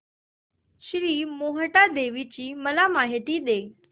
श्री मोहटादेवी ची मला माहिती दे